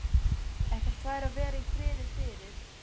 Ekkert fær að vera í friði fyrir